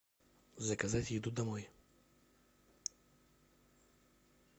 заказать еду домой